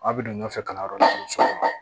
Aw bɛ don ɲɔgɔn fɛ kalanyɔrɔ la kosɛbɛ